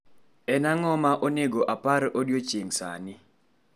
En ang'o ma onego apar odiechieng' sani